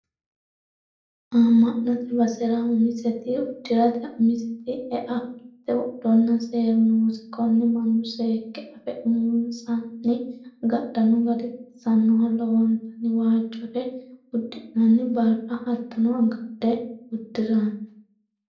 Ama'note basera umiseti uddirate umiseti ea fulate wodhonna seeru noose konne mannu seekke affe uminsanni agadhano gari baxisanoho lowontanni waajore uddi'nanni barra hattono agadhe uddirano.